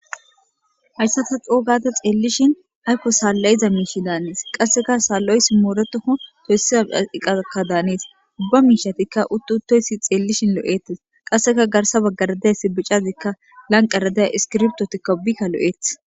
Hayisa ta co,o gada xelishin salayiza misha danates qassika loiso moretiko besiya iqqa danes ubba mishika xelishin loetes garsa bagara diza iskibirtotika guthara lo,etes